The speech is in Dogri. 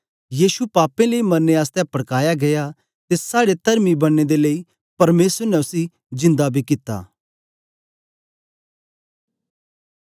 यीशु साड़े पापें लेई मरने आसतै पड़काया गीया ते साड़े तरमी बनने दे लेई परमेसर ने उस्सी जिन्दा बी कित्ता